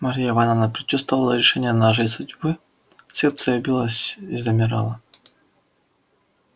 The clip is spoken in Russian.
марья ивановна предчувствовала решение нашей судьбы сердце её билось и замирало